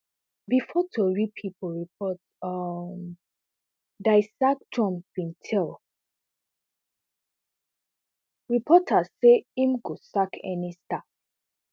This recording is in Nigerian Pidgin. bifor tori pipo report um die sack trump bin tell reporters say im go sack any staff